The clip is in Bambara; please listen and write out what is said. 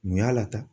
Mun y'a lata